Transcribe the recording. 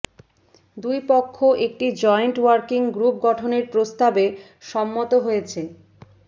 দুই পক্ষ একটি জয়েন্ট ওয়ার্কিং গ্রুপ গঠনের প্রস্তাবে সম্মত হয়েছে